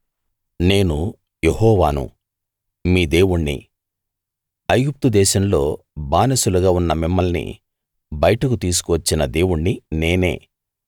నేను యెహోవాను మీ దేవుణ్ణి ఐగుప్తు దేశంలో బానిసలుగా ఉన్న మిమ్మల్ని బయటకు తీసుకు వచ్చిన దేవుణ్ణి నేనే